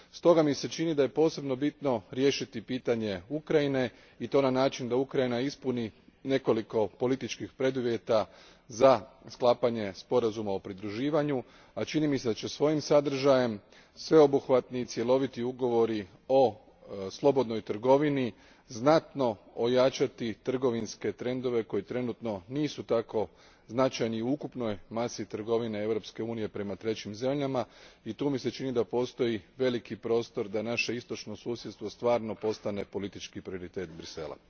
S toga mi se čini da je posebno bitno riješiti pitanje Ukrajine i to na način da Ukrajina ispuni nekoliko političkih preduvjeta za sklapanje sporazuma o pridruživanju, a čini mi se da će svojim sadržajem sveobuhvatni i cjeloviti ugovori o slobodnoj trgovini znatno ojačati trgovinske trendove koji trenutno nisu tako značajni u ukupnoj masi trgovine Europske Unije prema trećim zemljama i tu mi se čini da postoji veliki prostor da naše istočno susjedstvo stvarno postane politički prioritet Bruxellesa.